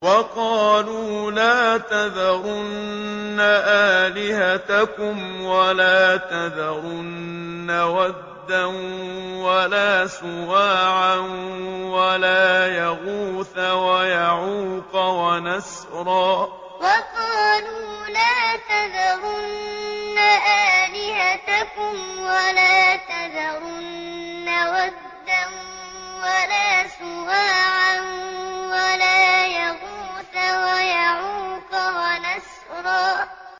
وَقَالُوا لَا تَذَرُنَّ آلِهَتَكُمْ وَلَا تَذَرُنَّ وَدًّا وَلَا سُوَاعًا وَلَا يَغُوثَ وَيَعُوقَ وَنَسْرًا وَقَالُوا لَا تَذَرُنَّ آلِهَتَكُمْ وَلَا تَذَرُنَّ وَدًّا وَلَا سُوَاعًا وَلَا يَغُوثَ وَيَعُوقَ وَنَسْرًا